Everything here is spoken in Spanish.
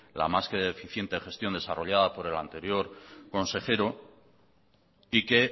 la más que eficiente gestión desarrollada por el anterior consejero y que